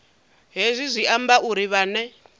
hezwi zwi amba uri vhane